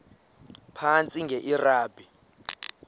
phantsi enge lrabi